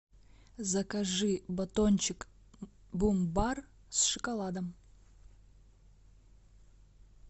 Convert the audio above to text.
закажи батончик бумбар с шоколадом